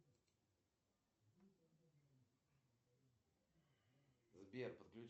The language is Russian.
пять два семь шесть четыре пять четыре на номер телефона восемь